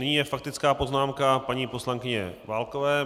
Nyní je faktická poznámka paní poslankyně Válkové.